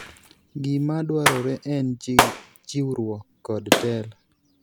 Gima dwarore en chiwruok kod telo.